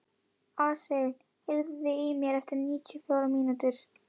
Asael, heyrðu í mér eftir níutíu og fjórar mínútur.